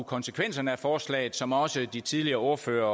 konsekvenserne af forslaget som også de tidligere ordførere